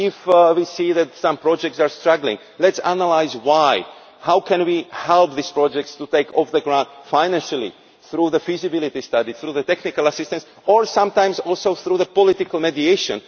If we see that some projects are struggling, let us analyse why how can we help these projects take off financially through the feasibility study, through technical assistance or sometimes also through political mediation?